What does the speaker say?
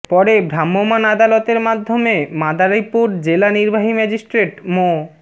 পরে ভ্রাম্যমাণ আদালতের মাধ্যমে মাদারীপুর জেলা নির্বাহী ম্যাজিস্ট্রেট মো